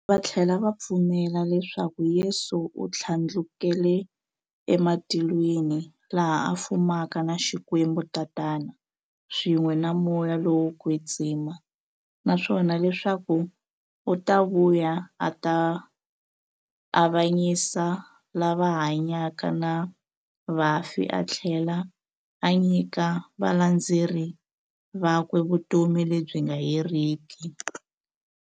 Vathlela va pfumela leswaku Yesu u thlandlukele e matilweni, laha a fumaka na Xikwembu-Tatana, swin'we na Moya lowo kwetsima, naswona leswaku u ta vuya a ta avanyisa lava hanyaka na vafi athlela a nyika valandzeri vakwe vutomi lebyi nga heriki.